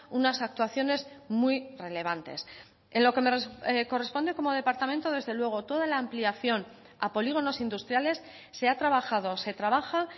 unas actuaciones muy relevantes en lo que me corresponde como departamento desde luego toda la ampliación a polígonos industriales se ha trabajado se trabaja